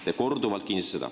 Te kinnitasite seda korduvalt.